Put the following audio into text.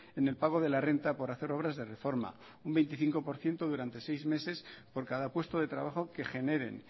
en el pago de la renta por hacer obras de reforma un veinticinco por ciento durante seis meses por cada puesto de trabajo que generen